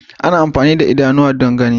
Ana amfani da idanu don gani.